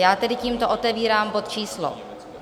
Já tedy tímto otevírám bod číslo